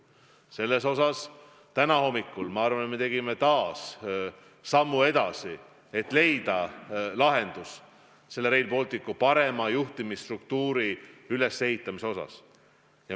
Selles osas me tegime täna hommikul minu arvates veel ühe sammu edasi, et leida lahendus Rail Balticu parema juhtimisstruktuuri ülesehitamiseks.